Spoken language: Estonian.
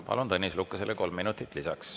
Palun Tõnis Lukasele kolm minutit lisaks.